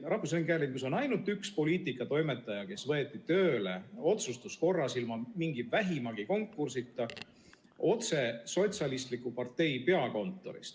Rahvusringhäälingus on ainult üks poliitikatoimetaja, kes võeti tööle otsustuskorras, ilma vähimagi konkursita, otse sotsialistliku partei peakontorist.